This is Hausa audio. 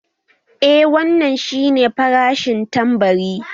Eeh wannan shi nefarashin tambari